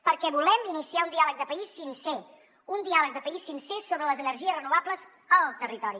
perquè volem iniciar un diàleg de país sincer un diàleg de país sincer sobre les energies renovables al territori